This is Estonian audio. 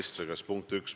See oli punkt 1.